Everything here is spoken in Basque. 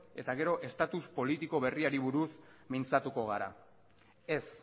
eta gero status politiko berriari buruz mintzatuko gara ez